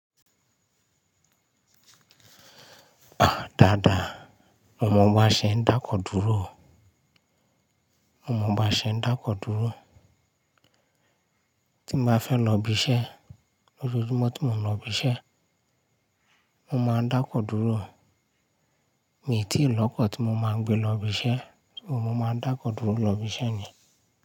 À dáadáa, mo mọ baṣe ń dáko dúró o. Mo mọ baṣe ń dáko dúró. Tí mo bá fẹ́ lọ ibi iṣẹ́, lójoojúmọ́ tí mo ń lọ ibi iṣẹ́, mo máa ń dáko dúró. Mii tí ìlọ́kọ tí mo máa ń gbé lọ ibi iṣẹ́, ṣùgbọ́n mo máa ń dáko dúró lọ ibi iṣẹ́ ni.